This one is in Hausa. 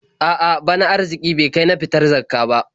A'a, bana arziƙi bai kai in fitar da Zakkah ba.